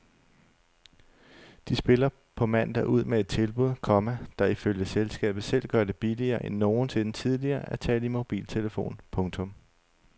De spiller på mandag ud med et tilbud, komma der ifølge selskabet selv gør det billigere end nogensinde tidligere at tale i mobiltelefon. punktum